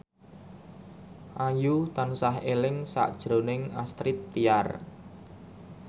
Ayu tansah eling sakjroning Astrid Tiar